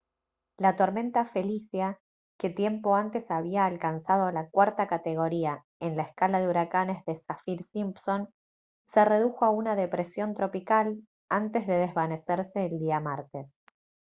la tormenta felicia que tiempo antes había alcanzado la cuarta categoría en la escala de huracanes de saffir-simpson se redujo a una depresión tropical antes de desvanecerse el día martes